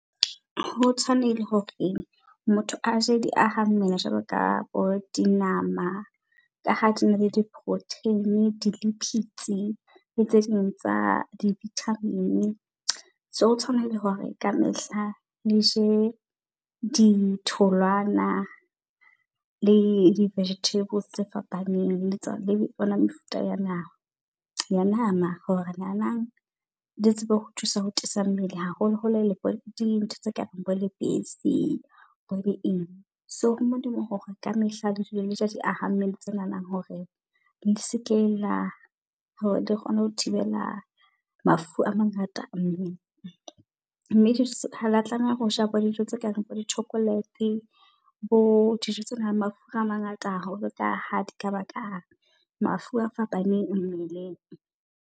Ho tshwanehile hore e motho aje diaha mmele jwalo ka bo dinama ka ha di na le di-protein di-lipids le tse ding tsa di-vitamin. So o tshwanehile hore ka mehla le je ditholwana, le di-vegetables tse fapaneng le mefuta ya nama ya nama. Hore nanang le tsebe ho thusa ho tiisa mmele haholo holo dintho tse kabang bo lebese bo di eng. So ho molemo hore ka mehla le dule leja diaha mmele, tse nanang hore le seke la hore dikgone ho thibela mafu a mangata. Mme hala tlameha hoja bo dijo tse kareng bo di-chocolate bo dijo tsenang le mafura a mangata haholo. Ka ha di ka ba ka mafu a fapaneng mmeleng.